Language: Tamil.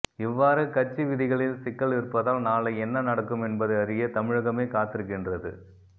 இவ்வாறு கட்சி விதிகளில் சிக்கல் இருப்பதால் நாளை என்ன நடக்கும் என்பதை அறிய தமிழகமே காத்திருக்கின்றது